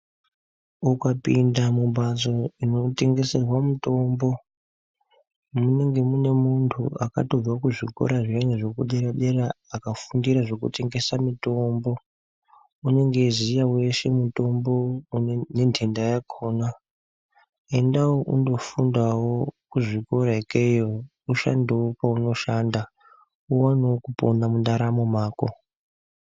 Ukapinda mumbatso inotengeserwa mutombo, munenge mune muntu akatobva kuzvikora zvinenge zvekuderadera akafundira zvekutengesa mitombo. Unenge eiziya weshe mutombo nentenda yakhona. Endawo undofundawo kuzvikora ikeyo ushandewo peunoshanda, uwanewo kupona mundaramo mako.